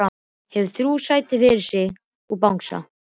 Hefur þrjú sæti fyrir sig og bangsa.